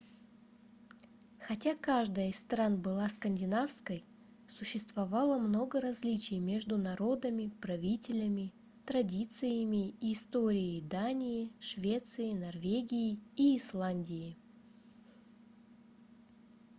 хотя каждая из стран была скандинавской существовало много различий между народами правителями традициями и историей дании швеции норвегии и исландии